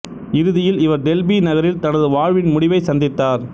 இறிதியில் இவர் டெல்பி நகரில் தனது வாழ்வின் முடிவை சந்தித்தார்